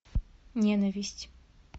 ненависть